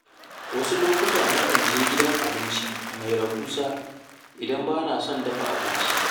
Wasu ranaku na kan je gidan abinci mai rahusa idan bana son dafa abinci.